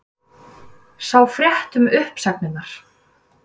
Sjá frétt um uppsagnirnar